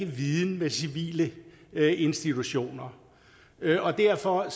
viden med civile institutioner og derfor